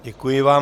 Děkuji vám.